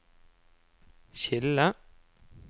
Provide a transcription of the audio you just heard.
skille